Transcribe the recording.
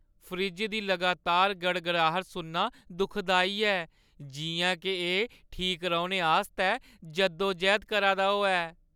Fridge दी लगातार गड़गड़ाहट सुनना दुखदाई ऐ, जिʼयां के एह् ठीक रौह्‌ने आस्तै जद्दोजैह्द करा दा होऐ।